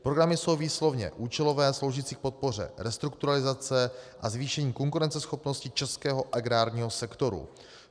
Programy jsou výslovně účelové, sloužící k podpoře restrukturalizace a zvýšení konkurenceschopnosti českého agrárního sektoru.